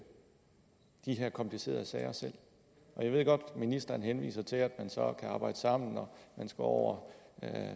de her komplicerede sager selv jeg ved godt at ministeren henviser til at man så kan arbejde sammen og at man skal over